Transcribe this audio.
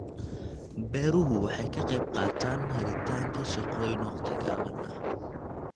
Beeruhu waxay ka qaybqaataan helitaanka shaqooyin waqti gaaban ah.